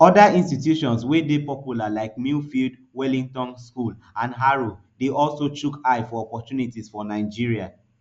oda institutions wey dey popular like millfield wellington school and harrow dey also chook eye for opportunities for nigeria